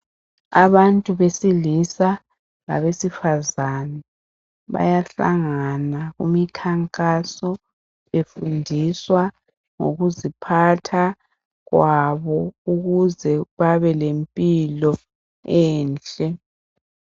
Abantu besilisa labesifazane bayahlangana kumikhankaso befundiswa ngokuziphatha kwabo ukuze babe lempilo enhle.